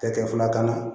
Ka kɛ filakan na